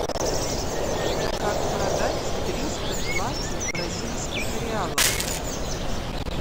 как продать триста двадцать бразильских реалов